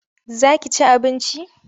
Za ki ci abinci?